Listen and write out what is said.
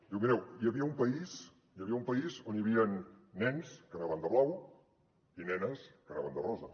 mireu hi havia un país on hi havien nens que anaven de blau i nenes que anaven de rosa